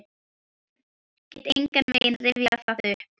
Get engan veginn rifjað það upp.